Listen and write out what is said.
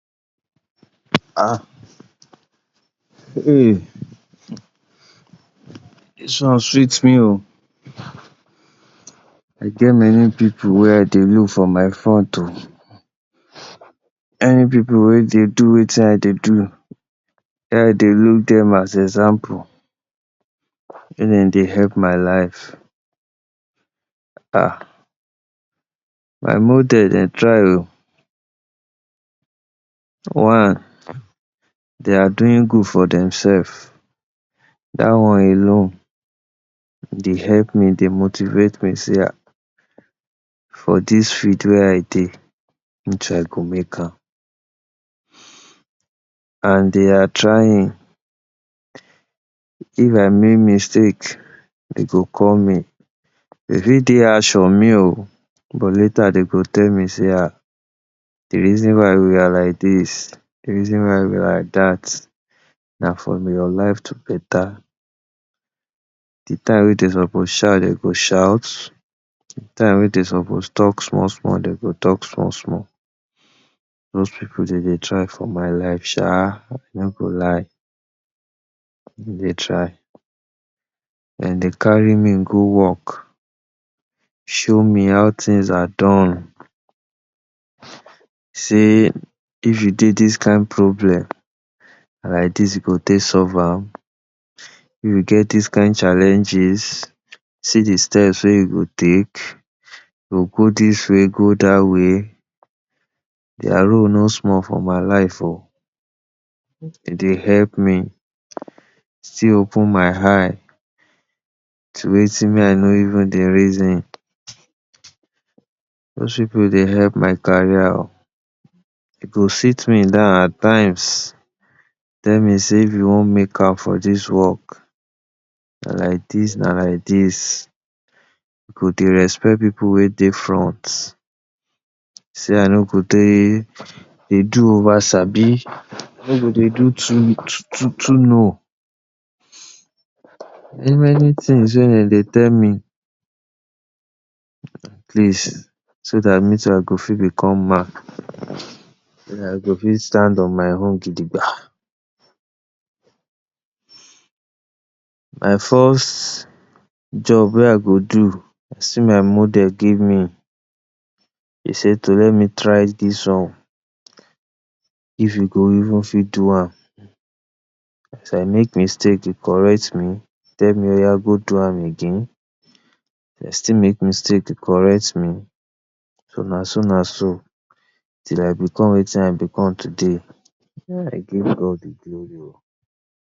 um dis one sweet me um, I get many pipu wey I dey look for my front oh, any pipu wey dey do wetin I dey do make I dey look dem as example, make dem dey help my life. um my model dem try oh, dia doing good for dem self, dat one alone dey help me, dey motivate me sey for dis field wey I dey, me too I go make am, and dey are trying, if I make mistake dey go call me, dey fit dey harsh on me oh but later dem go tell me sey um de reason why we are like dis, de reason why we are like dat na for your life to better, de time wey dem suppose shout dem go shout, de time wey dem suppose talk small small dem go talk small small, those pipu dem dey try for my life sha, I no go lie. Dem dey try dem dey carry me go work, show me how things are done, sey if you dey dis kind problem na like dis you go take solve am, if you get dis kind challenges see de step wey you go take, you go go dis way go dat way. Their role nor small for my life oh, dem dey help me, still open my eye to wetin me I no even dey reason. Those pipu dey help my career oh, dey go sit me dan at times tell me sey if you want make am for dis work na like dis na like dis you go dey respect pipu wey dey front, sey I no go dey dey do over sabi, I no go dey do too too know. Many many things wey dem dey tell me, atleast so dat me too I go fit become man, so dat I go fit stand on my own gidigba. My first job wey I go do sey my model give me, he say to let me try dis one if you go even fit do am, as I make mistake he correct me, tell me oya go do am again, if I still make mistake he correct me, so na so na so till I become wetin I become today, I give God de glory oh.